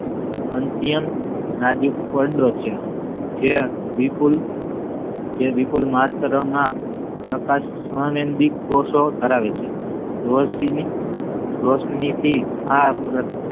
અત્યંત નાજુક પડદો છે જે વિપૂલ વિપૂલમાત્ર માં પ્રકાશ સંવેદી કોષો ધરાવે છે રોશનીની રોશની થી આ સુરચના